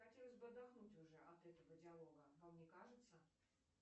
хотелось бы отдохнуть уже от этого диалога вам не кажется